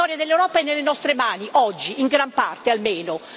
La storia dell'Europa è nelle nostre mani, oggi, in gran parte, almeno.